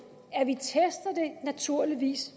at vi naturligvis